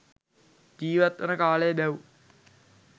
ජීවත්වන කාලය බැව්